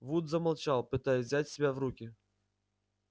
вуд замолчал пытаясь взять себя в руки